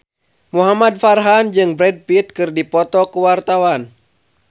Muhamad Farhan jeung Brad Pitt keur dipoto ku wartawan